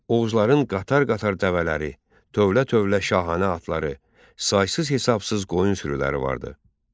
Oğuzların qatar-qatar dəvələri, tövlə-tövlə şahanə atları, saysız-hesabsız qoyun sürüləri vardı.